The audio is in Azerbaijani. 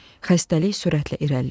Xəstəlik sürətlə irəliləyirdi.